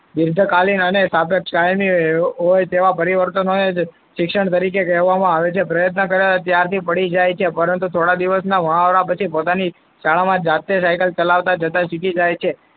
દર્દ કાલીન અને સાપેક્ષ કાયમી હોય તેવા પરિવર્તનને શિક્ષણ તરીકે કહેવામાં આવે છે. પ્રયત્ન કરે ત્યારથી પડી જાય છે. પરંતુ, થોડા દિવસના મહાવરા પછી શાળામાં જાતે cycle ચલાવતા જતા શીખી જાય છે.